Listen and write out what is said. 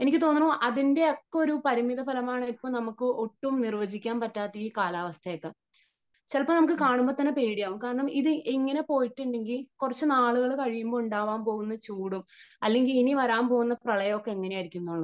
എനിക്ക് തോന്നുന്നു അതിന്റെ ഒക്കെ ഒരു പരിണിതഫലമാണ് ഇപ്പം നമുക്ക് ഒട്ടും നിർവചിക്കാൻ പറ്റാത്ത ഈ കാലാവസ്ഥയൊക്കെ . ചിലപ്പോ നമുക്ക് കാണുമ്പോ തന്നെ പേടിയാകും കാരണം ഇത് ഇങ്ങനെ പൊയിട്ടുണ്ടെങ്കിൽ കുറച്ച് നാളുകൾ കഴിയുമ്പോ ഉണ്ടാകാൻ പോകുന്ന ചൂടും , അല്ലെങ്കിൽ ഇനി വരാൻ പോകുന്ന പ്രളയമൊക്കെ എങ്ങനെ ആയിരിക്കും എന്നുള്ളത് .